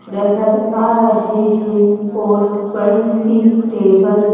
नजर आ रहे हैं और बड़ी सी टेबल--